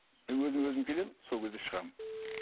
мен өзіме өзім келемін сол кезде шығамын